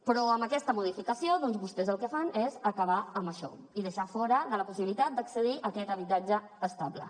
però amb aquesta modificació doncs vostès el que fan és acabar amb això i deixar los fora de la possibilitat d’accedir a aquest habitatge estable